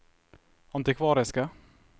antikvariske